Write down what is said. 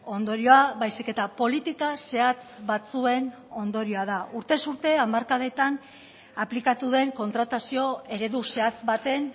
ondorioa baizik eta politika zehatz batzuen ondorioa da urtez urte hamarkadetan aplikatu den kontratazio eredu zehatz baten